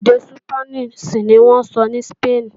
Èdè Súpánìṣì ní wọ́n ń sọ ní Sípéènì